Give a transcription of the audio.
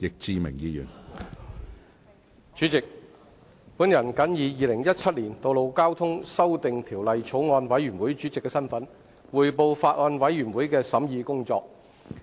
主席，我謹以《2017年道路交通條例草案》委員會主席的身份，匯報法案委員會的審議工作。